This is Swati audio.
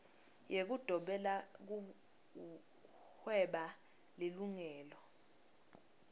yekudobela kuhweba lilungelo